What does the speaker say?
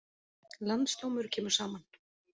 Landsdómur kemur saman